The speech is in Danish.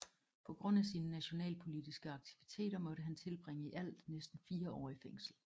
På grund af sine nationalpolitiske aktiviteter måtte han tilbringe i alt næsten 4 år i fængsel